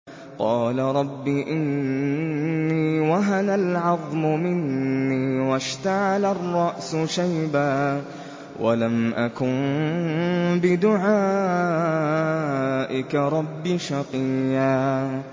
قَالَ رَبِّ إِنِّي وَهَنَ الْعَظْمُ مِنِّي وَاشْتَعَلَ الرَّأْسُ شَيْبًا وَلَمْ أَكُن بِدُعَائِكَ رَبِّ شَقِيًّا